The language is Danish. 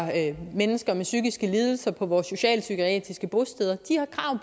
mennesker med psykiske lidelser på vores socialpsykiatriske bosteder